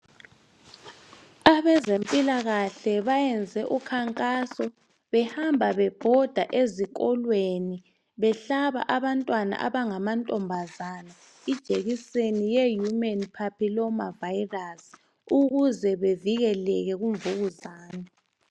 Abezempilakahle benze ukhankaso behamba bebhoda ezikolweni behlaba abantwana abangamantombazana ijekiseni ye human papiloma virus ukuze bavikeleke kumvukuzane.